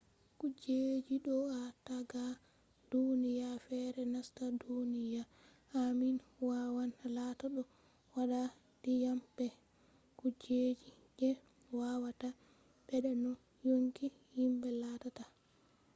kujeji do’a ta daga duniya fere nasta duniya amin wawan latta ɗo wadda ndiyam be kujeji je wawata ɓedda no yonki himɓe lattata